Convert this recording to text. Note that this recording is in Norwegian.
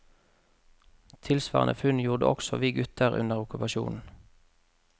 Tilsvarende funn gjorde også vi gutter under okkupasjonen.